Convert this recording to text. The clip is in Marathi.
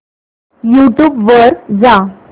यूट्यूब वर जा